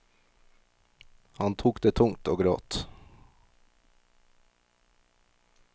Han tok det tungt og gråt.